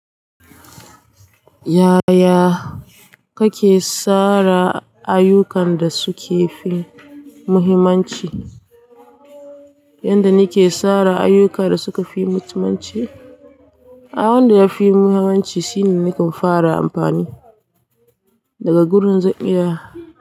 Yaya kake tsara ayyukan da suka fi muhimmanci? Yanda nake tsara ayuka da suka fi muhimmanci, abun da ya fi muhimmanci shine nakan fara amfani daga gurin zan 'iya.